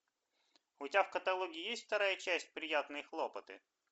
у тебя в каталоге есть вторая часть приятные хлопоты